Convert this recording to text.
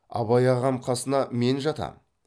абай ағам қасына мен жатам